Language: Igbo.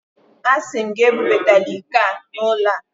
Asị m gị, ebubatala iko a n'ụlọ a!